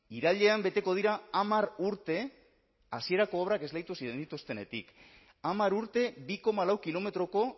irailean beteko dira hamar urte hasierako obrak esleitu zenituztenetik hamar urte bi koma lau kilometroko